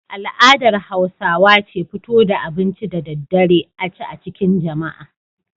Al'adar Hausawa ce fito da abinci da daddare a ci a cikin jama'a.